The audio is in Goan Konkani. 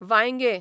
वांयगें